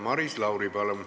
Maris Lauri, palun!